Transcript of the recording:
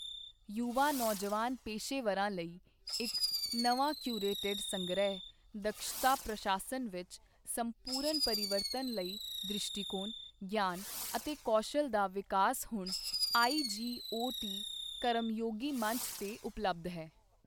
ਯੁਵਾ ਨੌਜਵਾਨ ਪੇਸ਼ੇਵਰਾਂ ਲਈ ਇੱਕ ਨਵਾਂ ਕਿਉਰੇਟਿਡ ਸੰਗ੍ਰਹਿ ਦਕਸ਼ਤਾ ਪ੍ਰਸ਼ਾਸਨ ਵਿੱਚ ਸੰਪੂਰਨ ਪਰਿਵਰਤਨ ਲਈ ਦ੍ਰਿਸ਼ਟੀਕੋਣ, ਗਿਆਨ ਅਤੇ ਕੌਸ਼ਲ ਦਾ ਵਿਕਾਸ ਹੁਣ ਆਈਜੀਓਟੀ ਕਰਮਯੋਗੀ ਮੰਚ ਤੇ ਉਪਲਬਧ ਹੈ।